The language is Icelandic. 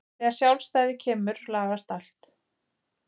Þegar sjálfstæðið kemur lagast allt.